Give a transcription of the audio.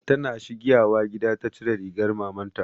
Ta na shigiwa gida ta cire rigar maman ta